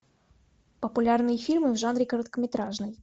популярные фильмы в жанре короткометражный